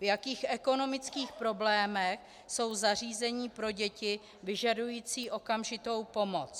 V jakých ekonomických problémech jsou zařízení pro děti vyžadující okamžitou pomoc.